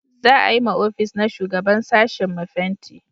za a yi ma ofis na shugaban sashin mu fenti